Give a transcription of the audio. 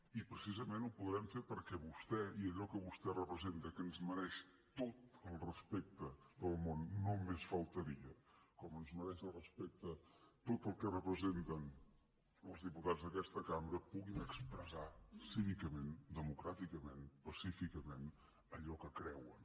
i precisament ho podrem fer perquè vostès i allò que vostè representa que ens mereix tot el respecte del món només faltaria com ens mereix el respecte tot el que representen els diputats d’aquesta cambra puguin expressar cívicament democràticament pacíficament allò que creuen